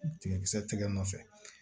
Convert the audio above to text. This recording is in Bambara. Tigakisɛ tɛgɛ nɔfɛ